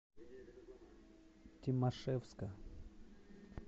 тимашевска